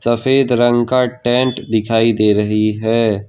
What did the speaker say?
सफेद रंग का टेंट दिखाई दे रही है।